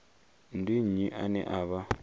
ndi nnyi ane a vha